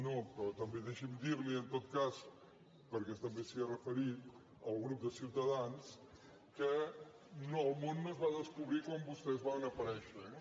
no però també deixi’m dirli en tot cas perquè també s’hi ha referit al grup de ciutadans que el món no es va descobrir quan vostès van aparèixer eh